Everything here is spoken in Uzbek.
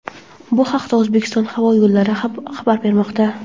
Bu haqda "O‘zbekiston havo yo‘llari" xabar bermoqda.